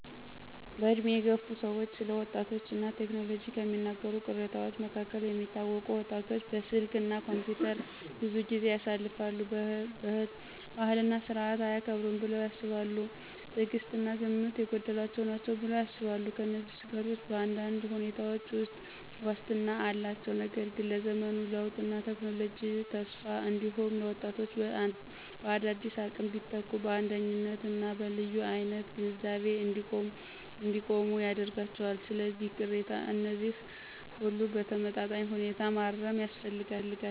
በዕድሜ የገፉ ሰዎች ስለ ወጣቶች እና ቴክኖሎጂ ከሚናገሩት ቅሬታዎች መካከል የሚታወቁት: ወጣቶች በስልክ እና ኮምፒውተር ብዙ ጊዜ ያሳልፋሉ። ባህልና ሥርዓትን አያከብሩም ብለው ያስባሉ። ትዕግሥት እና ግምት የጎደላቸው ናቸው ብለው ያስባሉ። እነዚህን ስጋቶች በአንዳንድ ሁኔታዎች ውስጥ ዋስትና አላቸው፣ ነገር ግን ለዘመኑ ለውጥና ለቴክኖሎጂ ተስፋ እንዲሁም ለወጣቶች በአዳዲስ አቅም ቢተኩ በአንደኝነት እና በልዩ አይነት ግንዛቤ እንዲቆሙ ያደርጋቸዋል። ስለዚህ፣ ቅሬታ እነዚህን ሁሉ በተመጣጣኝ ሁኔታ ማረም ያስፈልጋል።